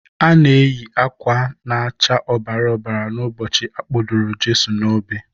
Ha na-eyị akwa na-acha ọbara ọbara n'ụbọchị Akpọdoro Jeso n'obe.